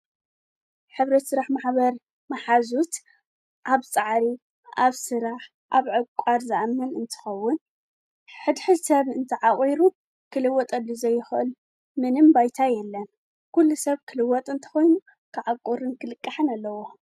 ኅብት ሥራሕ ምማኅበር መሓዙት ኣብ ፀዓሪ ኣብ ሥራሕ ኣብ ዕቋድ ዝኣምን እንትኸውን ሕድሕድ ሰብ እንቲ ዓቝሩት ክልወጠሉ ዘይኽእል ምንም ባይታ የለን ኲሉ ሰብ ክልወጥ እንተኾይኑ ክዓቊርን ክልቃሕን ኣለዎ።